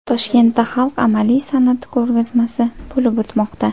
Toshkentda xalq amaliy san’ati ko‘rgazmasi bo‘lib o‘tmoqda.